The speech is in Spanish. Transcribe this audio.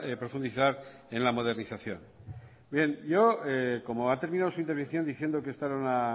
profundizar en la modernización bien como ha terminado su intervención diciendo que esta era una